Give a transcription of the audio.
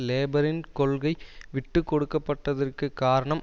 லேபரின் கொள்கை விட்டு கொடுக்கப்பட்டதற்குக் காரணம்